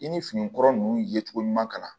I ni finikura nunnu ye cogo ɲuman kalan